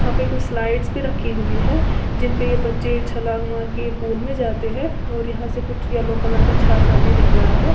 वहां पर कुछ स्लाइड्स भी रखी हुई है जिन पर ये बच्चे छलांग मार के पुल में जाते हैं और यहां से कुछ येलो कलर का छाता भी दिख रहा है।